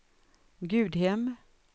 Gudhem